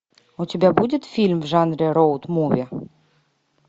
у тебя будет фильм в жанре роуд муви